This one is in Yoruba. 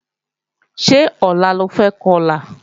Ṣé ọ̀la lo fẹ́ Kọlà?